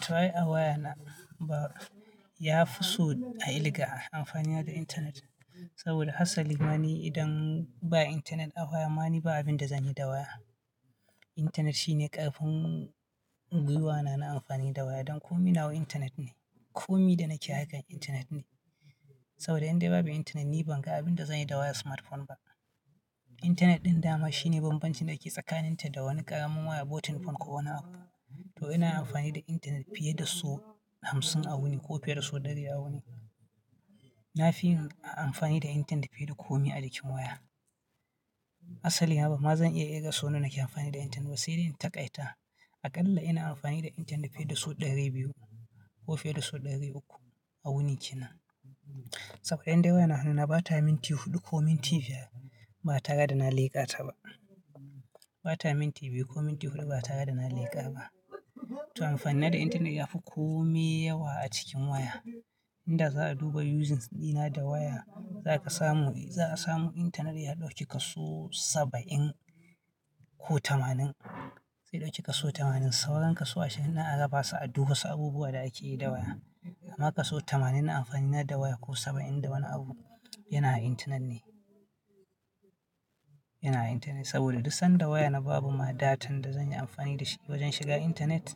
To ai a waya na ba, yafi so a ilga amfani na da internet saboda hasali ma ni idan ba internet a waya ma ni ba abin da zanyi da waya. Internet shine ƙarfin gwiwana na amfani da waya don komi nawa internet ne. Komi da nake akan internet ne saboda in dai babu internet ni ban ga abinda zanyi da wayar smartphone ba. Internet ɗin dama shine bambancin dake tsakanin ta da wani ƙaramin wayar button phone ko wani abu. To ina amfani da internet fiye da sau hamsin a wuni ko fiye da sau ɗari a wuni. Na fi yin amfani da internet fiye da komai a cikin waya. Asali ma bama zan iya kirga sau nawa nake mfani da internet ba sai dai in taƙaita. Aƙalla ina amfani da internet fiye da sau ɗari biyu ko fiye da sau ɗari uku a wuni kenan. Saboda in dai waya na hannu na bata minti huɗu ko minti biyar ba tare da na leƙa ta ba. Bata minti biyu ko minti huɗu ba tara dana leƙa ba. To amfani na da internet ya fi komi yawa a cikin waya. Inda za'a duba usings ɗina da waya zaka samu, za'a samu internet ya ɗauki kaso saba'in ko tamanin. Zai ɗauki kaso tamanin. Sauran kaso ashirin za'a rabasu a duk wasu abubuwa da akeyi da waya. Amma kaso tamanin na amfani na da waya ko saba'in da wani abu yana a intanet ne, yana a intanet saboda duk sanda wayana babu ma data da zanyi amfani da shi wajen shiga intanet.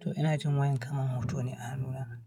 To ina jin wayan kaman hoti ne a hannuna.